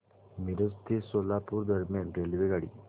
मिरज ते सोलापूर दरम्यान रेल्वेगाडी